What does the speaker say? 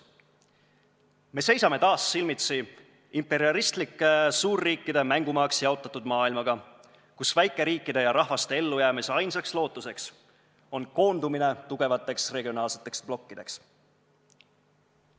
Me seisame taas silmitsi imperialistlike suurriikide mängumaaks jaotatud maailmaga, kus väikeriikide ja -rahvaste ellujäämise ainus lootus on koondumine tugevateks regionaalseteks blokkideks.